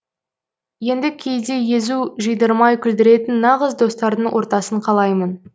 енді кейде езу жидырмай күлдіретін нағыз достардың ортасын қалаймын